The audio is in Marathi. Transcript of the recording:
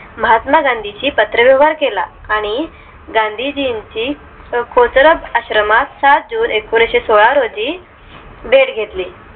महात्मा गांधींशी पत्र व्यवहार केला आणि गांधीजींची खोचरब आश्रमात सात june एकोणीशे सोळा रोजी date घेतली